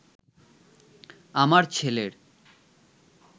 আমার ছেলের